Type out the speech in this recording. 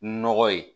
Nɔgɔ ye